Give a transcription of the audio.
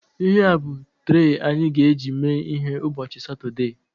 Ihea bụ trei anyị ga-eji mee ihe ụbọchị Satọdee